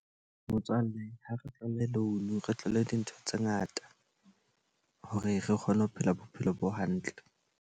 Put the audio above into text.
Motswalle ha re tlohelle loan re tlole dintho tse ngata. Hore re kgone ho phela bophelo bo hantle.